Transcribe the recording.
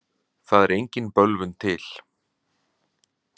Það er engin bölvun til.